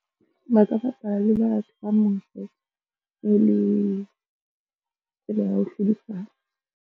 Ba ka bapala le batho ba mose e le tsela ya ho hlodisana.